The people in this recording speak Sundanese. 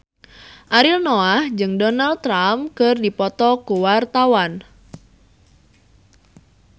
Ariel Noah jeung Donald Trump keur dipoto ku wartawan